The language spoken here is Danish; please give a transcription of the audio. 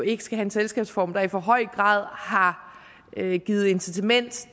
ikke have en selskabsform der i for høj grad har givet incitament